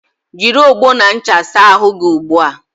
Jịrị ọgbọ na ncha saa ahụ gị ugbua!